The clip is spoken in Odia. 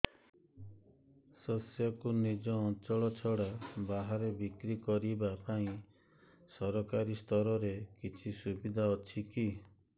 ଶସ୍ୟକୁ ନିଜ ଅଞ୍ଚଳ ଛଡା ବାହାରେ ବିକ୍ରି କରିବା ପାଇଁ ସରକାରୀ ସ୍ତରରେ କିଛି ସୁବିଧା ଅଛି କି